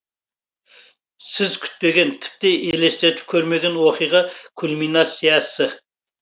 сіз күтпеген тіпті елестетіп көрмеген оқиға кульминациясы